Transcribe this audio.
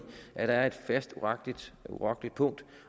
at der er et fast urokkeligt punkt